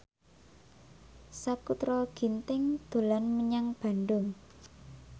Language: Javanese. Sakutra Ginting dolan menyang Bandung